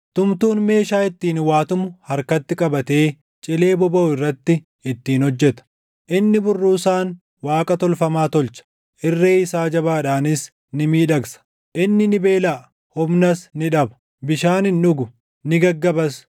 Tumtuun meeshaa ittiin waa tumu harkatti qabatee cilee bobaʼu irratti ittiin hojjeta; inni burruusaan waaqa tolfamaa tolcha; irree isaa jabaadhaanis ni miidhagsa. Inni ni beelaʼa; humnas ni dhaba; bishaan hin dhugu; ni gaggabas.